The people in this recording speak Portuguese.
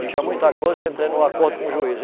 Eu tinha muita coisa, eu entrei num acordo com o juiz.